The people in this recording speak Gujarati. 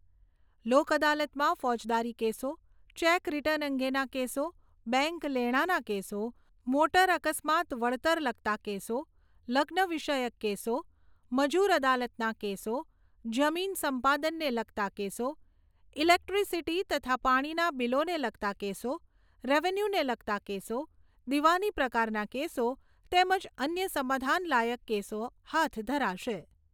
લોક અદાલતમાં ફોજદારી કેસો ચેક, રિટર્ન અંગેના કેસો, બેંક લેણાના કેસો, મોટર અકસ્માત વળતર લગતા કેસો, લગ્ન વિષયક કેસો, મજુર અદાલતના કેસો, જમીન સંપાદનને લગતા કેસો, ઇલેક્ટ્રિસિટી તથા પાણીના બિલોને લગતા કેસો, રેવન્યુને લગતા કેસો, દિવાની પ્રકારના કેસો તેમજ અન્ય સમાધાન લાયક કેસો હાથ ધરાશે.